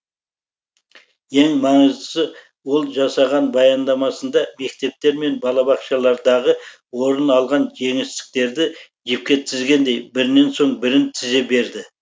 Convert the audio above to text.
ең маңыздысы ол жасаған баяндамасында мектептер мен балабақшалардағы орын алған жеңістіктерді жіпке тізгендей бірінен соң бірін тізе берді